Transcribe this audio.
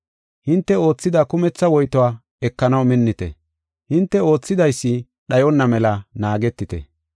Hinte oothida kumetha woytuwa ekanaw minnite. Hinte oothidaysi dhayonna mela naagetite.